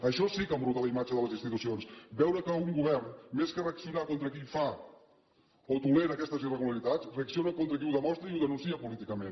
això sí que embruta la imatge de les institucions veure que un govern més que reaccionar contra qui fa o tolera aquestes irregularitats reacciona contra qui ho demostra i ho denuncia políticament